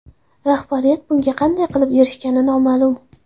Rahbariyat bunga qanday qilib erishgani noma’lum.